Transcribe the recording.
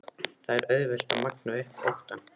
Það er auðvelt að magna upp óttann.